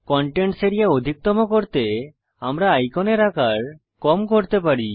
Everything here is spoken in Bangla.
কন্টেন্টস এরিয়া অধিকতম করতে আমরা আইকনের আকার কম করতে পারি